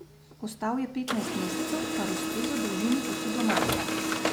Ostal je petnajst mesecev, kar ustreza dolžini poti do Marsa.